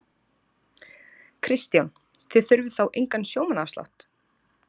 Kristján: Þið þurfið þá engan sjómannaafslátt?